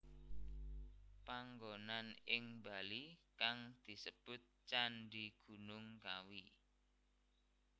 Panggonan ing Bali kang disebut Candhi Gunung Kawi